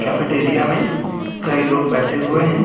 Cafeteria में कई लोग बैठे हुए हैं।